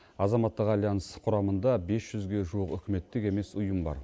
азаматтық альянс құрамында бес жүзге жуық үкіметтік емес ұйым бар